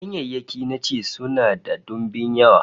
Ganyayyaki na ci sunan da dimbin yawa